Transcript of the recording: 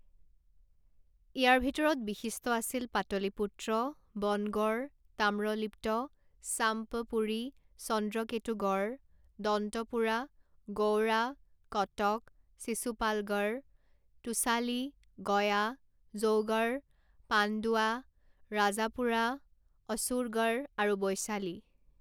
ইয়াৰ ভিতৰত বিশিষ্ট আছিল পাটলিপুত্ৰ, বনগড়, তাম্ৰলিপ্ত, চাম্পপুৰী, চন্দ্ৰকেতুগড়, দন্তপুৰা, গৌড়া, কটক, শিসুপালগড়, তোসালি, গয়া, জৌগড়, পাণ্ডুৱা, ৰাজাপুৰা, অসুৰগড় আৰু বৈশালী।